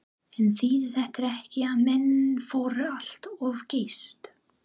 En þýðir þetta ekki að menn fóru allt of geyst?